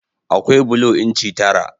Akwai bulo inci tara.